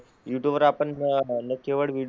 YouTube वर आपण न केवळ व्हिडीओ,